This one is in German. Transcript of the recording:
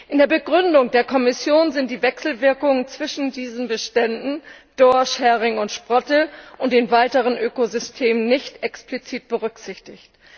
In der Begründung der Kommission sind die Wechselwirkungen zwischen diesen Beständen Dorsch, Hering und Sprotte und den weiteren Ökosystemen nicht explizit berücksichtigt.